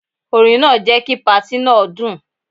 Orin náà jẹ́ kí patí náà dùn.